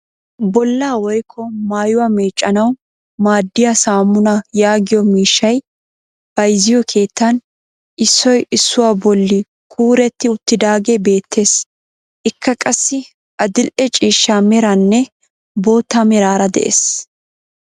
Bollaa woykko maayuwaa meeccanwu maaddiyaa saamunaa yaagiyo miishshay bayzziyo keettan issoy issuwaa bolli kuuretti uttidaagee beettees. Ikka qassi adil"e ciishsha meraranne bootta meraara de'ees.